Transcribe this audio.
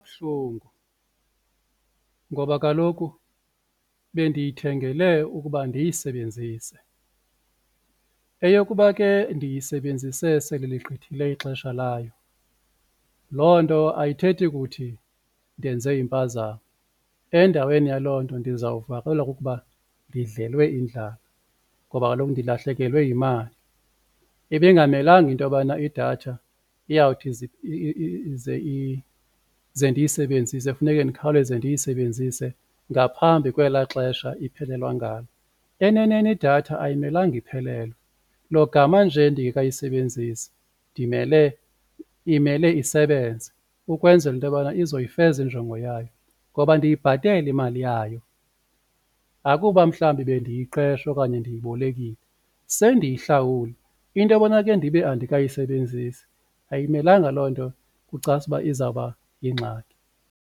Buhlungu ngoba kaloku bendiyithengele ukuba ndiyisebenzise eyokuba ke ndiyisebenzise sele ligqithile ixesha layo loo nto ayithethi kuthi ndenze impazamo endaweni yaloo nto ndizawuvakalelwa kukuba ndidlelwe indlala ngoba kaloku ndilahlekelwe yimali. ibingamelanga into yobana idatha iyawuthi ize ze ndiyisebenzise funeke ndikhawuleze ndiyisebenzise ngaphambi kwela xesha iphelelwa ngalo. Eneneni idatha ayimelanga iphelelwe logama nje ndingekayisebenzisi ndimele, imele isebenze ukwenzela into yobana izoyifeza injongo yayo ngoba ndiyibhatele imali yayo akuba mhlawumbi bendiyiqesha okanye ndiyibolekile sendiyihlawule into yobana ke ndibe andikayi sebenzisi ayimelanga loo nto kucace uba izawuba yingxaki.